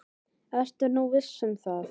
Ertu nú viss um það?